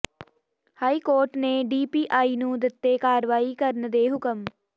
high court ਨੇ DPI ਨੂੰ ਦਿੱਤੇ ਕਾਰਵਾਈ ਕਰਨ ਦੇ ਹੁਕਮ